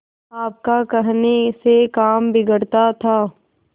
आपका कहने से काम बिगड़ता था